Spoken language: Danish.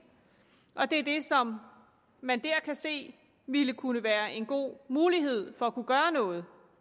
og fordi det er det som man der kan se ville kunne være en god mulighed for at kunne gøre noget